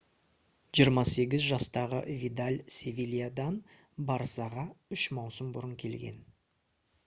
28 жастағы видаль «севильядан» «барсаға» үш маусым бұрын келген